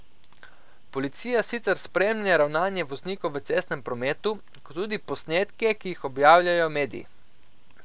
Policija sicer spremlja ravnanje voznikov v cestnem prometu, kot tudi posnetke, ki jih objavljajo mediji.